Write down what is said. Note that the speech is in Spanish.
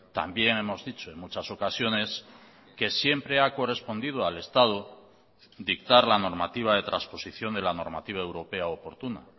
también hemos dicho en muchas ocasiones que siempre ha correspondido al estado dictar la normativa de transposición de la normativa europea oportuna